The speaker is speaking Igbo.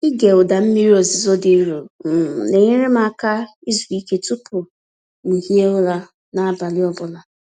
Ịge ụda mmiri ozuzo dị nro um na-enyere m aka izu ike tupu m hie ụra n’abalị ọ bụla.